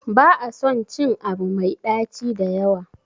ba a son cin Abu Mai daci da yawa